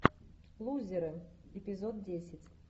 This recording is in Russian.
лузеры эпизод десять